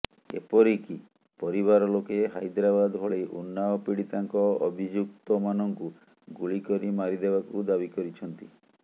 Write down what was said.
ଏପରି କି ପରିବାର ଲୋକେ ହାଇଦ୍ରାବାଦ ଭଳି ଉନ୍ନାଓ ପୀଡ଼ିତାଙ୍କ ଅଭିଯୁକ୍ତମାନଙ୍କୁ ଗୁଳି କରି ମାରିଦେବାକୁ ଦାବି କରିଛନ୍ତି